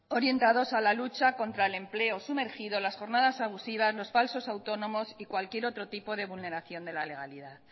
orientados a la lucha contra el empleo sumergido las jornadas abusivas los falsos autónomos y cualquier otro tipo de vulneración de la legalidad